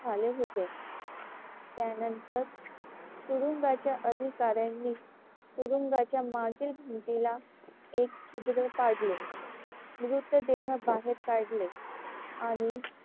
झाले होते. त्यानंतर तुरुंगाच्या अधिकाऱ्यांनीच तुरुंगाच्या मागील भिंतीला एक छिद्र पाडले. मृतदेह बाहेर काढले आणि,